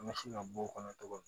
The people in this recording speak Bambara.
An bɛ se ka bɔ o kɔnɔ togo min